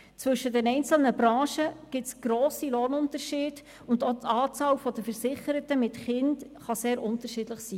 Zwischen den einzelnen Branchen gibt es grosse Lohnunterschiede, und auch die Anzahl der Versicherten mit Kindern kann sehr unterschiedlich sein.